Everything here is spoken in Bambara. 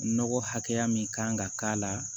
Nɔgɔ hakɛya min kan ka k'a la